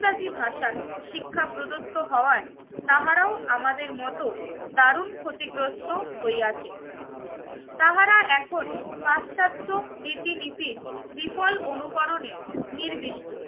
ন্দাজি ভাষায় শিক্ষা প্রদত্ত হওয়ায় তাহারাও আমাদের মতো দারুন ক্ষতিগ্রস্ত হয় আছে। তাহারা এখন পাশ্চাত্য রীতিনীতির বিফল অনুকরণে নির্দিষ্ট